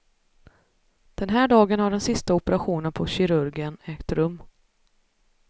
Den här dagen har den sista operationen på kirurgen ägt rum.